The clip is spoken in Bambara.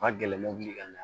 Ma gɛlɛ mɔbili ka na